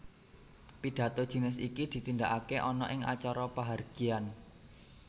Pidhato jinis iki ditindakaké ana ing acara pahargyan